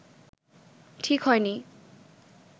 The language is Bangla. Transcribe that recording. ঠিক হয়নি